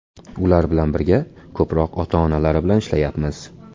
Ular bilan birga ko‘proq ota-onalari bilan ishlayapmiz.